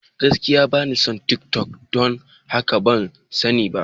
Gaskiya, ba ni kan tiktok, don haka ban sani ba.